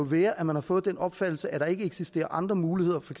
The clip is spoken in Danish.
være at man har fået den opfattelse at der ikke eksisterer andre muligheder for